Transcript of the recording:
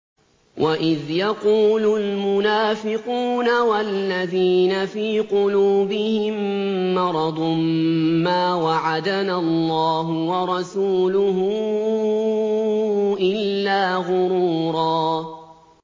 وَإِذْ يَقُولُ الْمُنَافِقُونَ وَالَّذِينَ فِي قُلُوبِهِم مَّرَضٌ مَّا وَعَدَنَا اللَّهُ وَرَسُولُهُ إِلَّا غُرُورًا